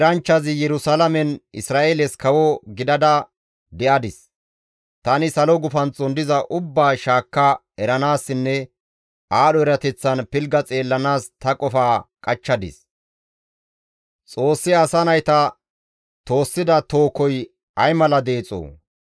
Tani salo gufanththon diza ubbaa shaakka eranaassinne aadho erateththan pilgga xeellanaas ta qofaa qachchadis; Xoossi asa nayta toossida toohoy ay mala deexoo!